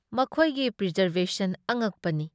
ꯃꯈꯣꯏꯒꯤ ꯄ꯭ꯔꯤꯖꯔꯚꯦꯁꯟ ꯑꯉꯛꯄꯅꯤ ꯫